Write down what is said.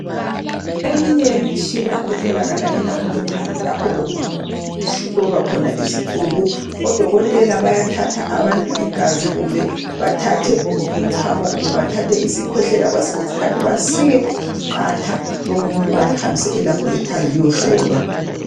Eminye yemitshina etholakala eLaboratory. Lapho okuhlolwa khona izicubu. Odokotela bayathatha abantu igazi. Kumbe bathathe umchamo. Kumbe bathathe isikhwehlela. Kwesinye isikhathi, basike iqatha lomuntu. Balihambise eLaboratory. Liyehlolwa.